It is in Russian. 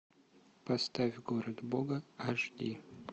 поставь город бога аш ди